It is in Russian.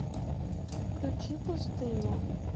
включи пустыня